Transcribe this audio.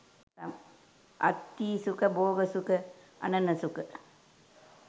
අත්ථී සුඛ, භෝග සුඛ, අණන සුඛ,